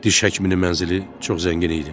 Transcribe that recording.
Diş həkiminin mənzili çox zəngin idi.